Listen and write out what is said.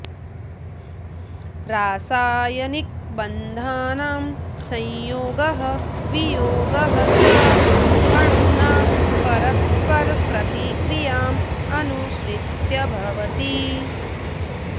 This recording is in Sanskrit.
रासायनिकबन्धानां संयोगः वियोगः च अणूनां परस्परप्रतिक्रियाम् अनुसृत्य भवति